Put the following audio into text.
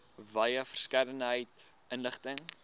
wye verskeidenheid inligting